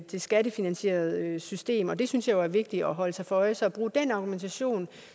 det skattefinansierede system og det synes jeg jo er vigtigt at holde sig for øje så at bruge den argumentation